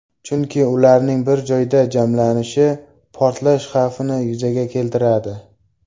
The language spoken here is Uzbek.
Chunki ularning bir joyda jamlanishi portlash xavfini yuzaga keltiradi.